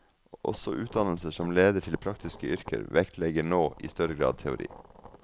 Også utdannelser som leder til praktiske yrker, vektlegger nå i større grad teori.